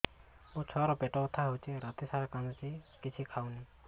ମୋ ଛୁଆ ର ପେଟ ବଥା ହଉଚି ରାତିସାରା କାନ୍ଦୁଚି କିଛି ଖାଉନି